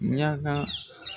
Mianka.